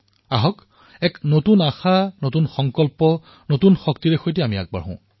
আহক এক নতুন উদ্দীপনাৰে নতুন সংকল্পৰে নতুন শক্তিৰে সৈতে আগবাঢ়ো